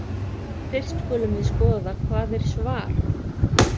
Fyrst skulum við skoða hvað er „svar“.